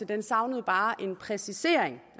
den savnede bare en præcisering